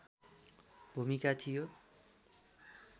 भूमिका थियो